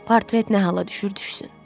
Portret nə hala düşür düşsün.